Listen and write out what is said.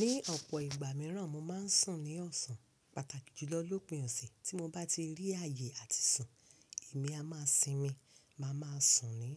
Ní ọ̀pọ̀ ìgbà mìíràn, mo máa ń sùn ní ọ̀sán. Pàtàkì jùlọ lópìn ọ̀sẹ̀ tí mo bá ti rí ààyè àti sùn, èmi a máa sinmi, màá máa sùn ní